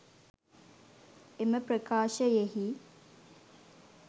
එම ප්‍රකාශයෙහි